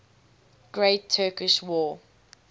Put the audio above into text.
great turkish war